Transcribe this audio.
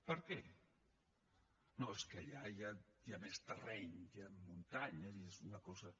per què no és que allà hi ha més terreny hi han muntanyes i és una cosa